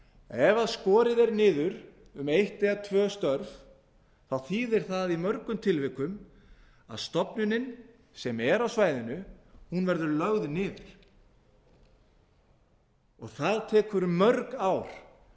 ef skorið er niður um eitt eða tvö störf þá þýðir það í mörgum tilvikum að stofnunin sem er á svæðinu verður lögð niður það tekur mörg ár